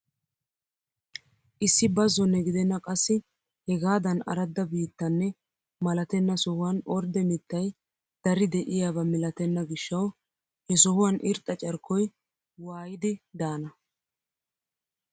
Issi bazone gidenna qassi hegaadan aradda biittanne malatenna sohuwaan ordde mittay dari de'iyaaba milatenna gishshawu he sohuwaan irxxa carkkoy waayidi daana!